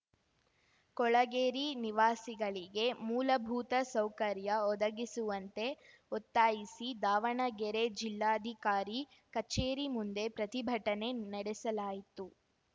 ಕೊಳೆಗೇರಿ ನಿವಾಸಿಗಳಿಗೆ ಮೂಲಭೂತ ಸೌಕರ್ಯ ಒದಗಿಸುವಂತೆ ಒತ್ತಾಯಿಸಿ ದಾವಣಗೆರೆ ಜಿಲ್ಲಾಧಿಕಾರಿ ಕಚೇರಿ ಮುಂದೆ ಪ್ರತಿಭಟನೆ ನೆಡೆಸಲಾಯಿತು